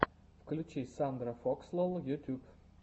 включи сандрафокслол ютуб